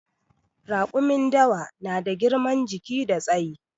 Raƙumin dawa na da girman jiki da tsayi